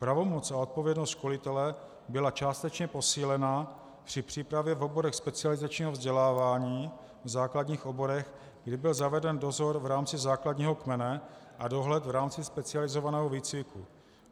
Pravomoc a odpovědnost školitele byla částečně posílena při přípravě v oborech specializačního vzdělávání, v základních oborech, kdy byl zaveden dozor v rámci základního kmene a dohled v rámci specializovaného výcviku.